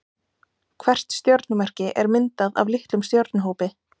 Hvert stjörnumerki er myndað af litlum stjörnuhópi.